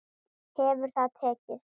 Hefur það tekist?